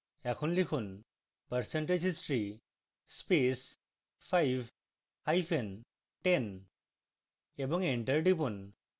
এখন লিখুন percentage history space 5 hyphen 10 এবং enter টিপুন